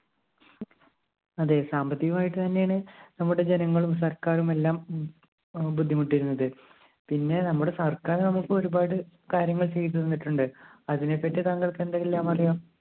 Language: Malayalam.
അതെ സാമ്പത്തികമായിട്ട് തന്നെയാണ് നമ്മുടെ ജനങ്ങളും സർക്കാരുമെല്ലാം ബുദ്ധിമുട്ടിയിരുന്നത് പിന്നെ നമ്മുടെ സർക്കാർ നമ്മുക്ക് ഒരുപാട് കാര്യങ്ങൾ ചെയ്തു തന്നിട്ടുണ്ട്. അതിനെപ്പറ്റി തങ്ങൾക്ക് എന്തെല്ലാം അറിയാം